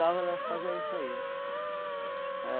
ela fazia isso aí.